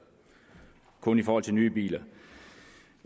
kun i forhold til nye biler vi